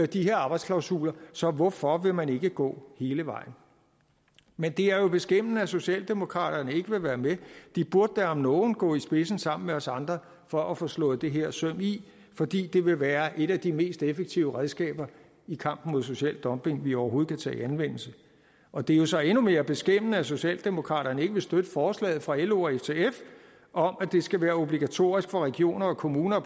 de her arbejdsklausuler så hvorfor vil man ikke gå hele vejen men det er jo beskæmmende at socialdemokraterne ikke vil være med de burde da om nogen gå i spidsen sammen med os andre for at få slået det her søm i fordi det vil være et af de mest effektive redskaber i kampen mod social dumping vi overhovedet kan tage i anvendelse og det er jo så endnu mere skæmmende at socialdemokraterne ikke vil støtte forslaget fra lo og ftf om at det skal være obligatorisk for regioner og kommuner at